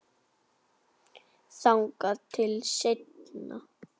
Þangað til seinna.